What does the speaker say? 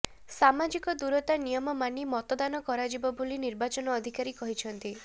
ସାମାଜିକ ଦୂରତା ନିୟମ ମାନି ମତଦାନ କରାଯିବ ବୋଲି ନିର୍ବାଚନ ଅଧିକାରୀ କହିଛନ୍ତି